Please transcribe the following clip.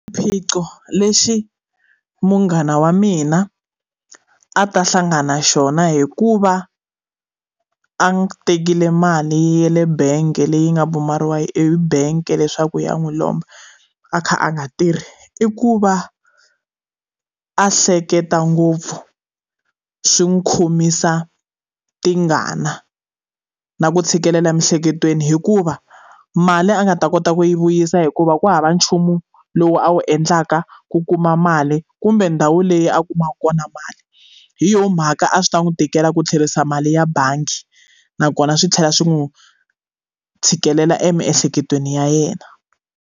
Swiphiqo leswi munghana wa mina a ta hlangana xona hikuva a tekile mali ya le bangi leyi nga pfumeriwa ebank leswaku ya n'wi lomba a kha a nga tirhi i ku va a hleketa ngopfu swi n'wi khomisa tingana na ku tshikelela emiehleketweni hikuva mali a nga ta kota ku yi vuyisa hikuva ku hava nchumu lowu a wu endlaka ku kuma mali kumbe ndhawu leyi a kumaku kona mali hi yona mhaka a swi ta n'wi tikela ku tlherisa mali ya bangi nakona swi tlhela swi n'wu tshikelela emiehleketweni ya yena.